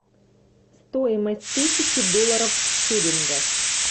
стоимость тысячи долларов в шиллингах